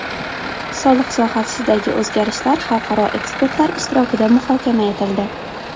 Soliq sohasidagi o‘zgarishlar xalqaro ekspertlar ishtirokida muhokama etildi.